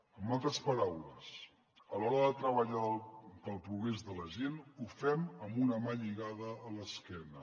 en altres paraules a l’hora de treballar pel progrés de la gent ho fem amb una mà lligada a l’esquena